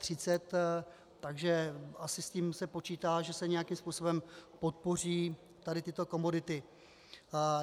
Takže asi s tím se počítá, že se nějakým způsobem podpoří tady tyto komodity.